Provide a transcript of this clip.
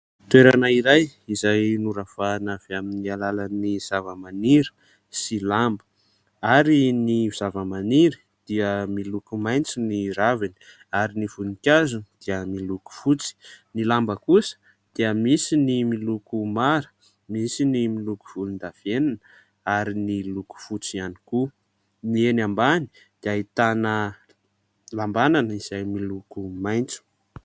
Toerana iray izay noravahana avy amin'ny alalan'ny zavamaniry sy lamba ary ny zavamaniry dia miloko maitso ny raviny ary ny voninkazony dia miloko fotsy. Ny lamba kosa dia misy ny miloko mara, misy ny miloko volondavenona ary ny loko fotsy ihany koa. Ny eny ambany dia ahitana lambanana izay miloko maitso.